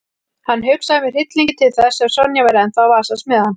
Hann hugsaði með hryllingi til þess ef Sonja væri ennþá að vasast með hann.